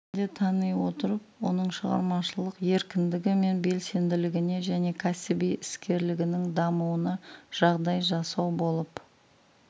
ретінде тани отырып оның шығармашылық еркіндігі мен белсенділігіне және кәсіби іскерлігінің дамуына жағдай жасау болып